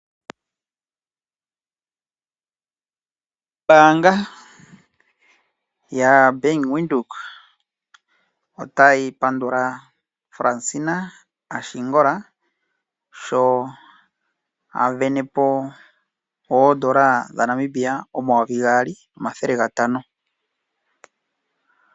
Oombanga ya Bank Windhoek otayi pandula Fransina Ashingola sho avenepo oondola dhaNamibia omayovi gaali nomathele gatano.